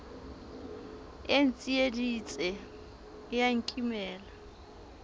e ntsieditse e a nkimela